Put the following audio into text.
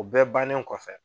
O bɛ bannen kɔfɛ